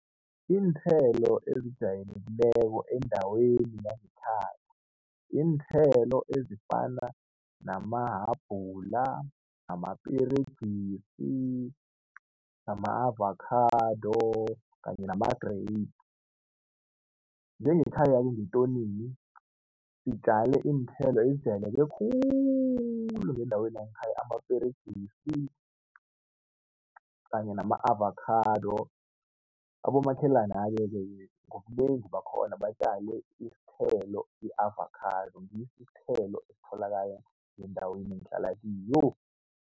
Iinthelo ezijayelekileko endaweni yangekhaya iinthelo ezifana namahabhula, amaperegisi nama-avakhado kanye nama-grapes. Njengekhaya ngetonini sitjale iinthelo ezijayeleke khulu ngendaweni yangekhaya amaperegisi kanye nama-avakhado. Abomakhelana-ke ngobunengi bakhona batjale isithelo i-avakhado ngiso isithelo esitholakala ngendaweni engihlala kiyo.